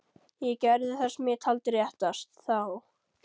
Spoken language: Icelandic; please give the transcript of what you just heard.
Ég gerði það sem ég taldi réttast. þá.